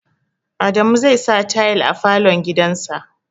Adamu zai sa tayal a falo gidan sa